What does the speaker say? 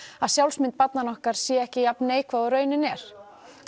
að sjálfsmynd barnanna okkar sé ekki jafn neikvæð og raunin er